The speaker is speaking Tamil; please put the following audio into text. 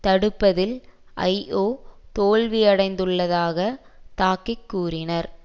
தடுப்பதில் ஐஒ தோல்வியடைந்துள்ளதாக தாக்கி கூறினார்